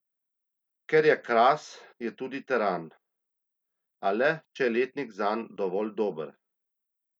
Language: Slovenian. Ker je Kras, je tudi teran, a le, če je letnik zanj dovolj dober.